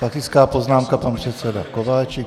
Faktická poznámka - pan předseda Kováčik.